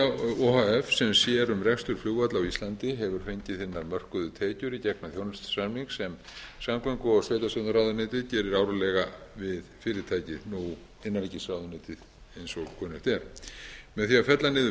h f sem sér um rekstur flugvalla á íslandi hefur fengið hinar mörkuðu tekjur í gegnum þjónustusamning sem samgöngu og sveitarstjórnarráðuneytið gerir árlega við fyrirtækið nú innanríkisráðuneytið eins og kunnugt er með því að fella niður